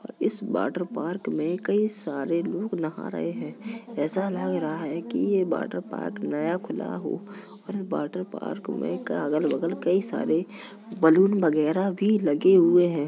इस water park में कई सारे लोग नहा रहै हैं ऐसा लग रहा है की यह वाटर पार्क नया खुला हो। इस वाटर पार्क में अगल-बगल कई सारे बलून वगेरा भी लगे हुए हैं।